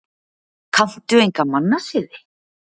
Kanntu enga mannasiði?